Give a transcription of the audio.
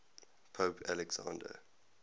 pope alexander